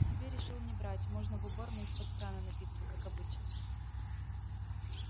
себе решил не брать можно в уборной из-под крана напиться как обычно